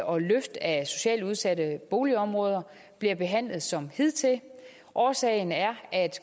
og løft af socialt udsatte boligområder bliver behandlet som hidtil årsagen er at